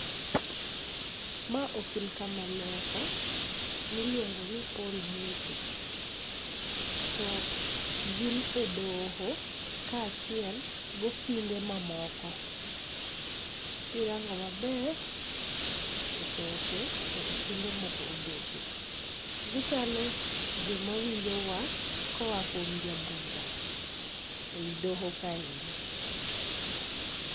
Ma okil kamaloka miluongo ni Paul Mwite to gin e doho kaachiel gokinde mamoko. Kirango maber etoke to okinde moko obetie. Gichalo joma winjo wach koa kuom jabura ei doho kaendi .